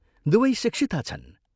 दुवै शिक्षिता छन्।